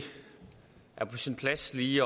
i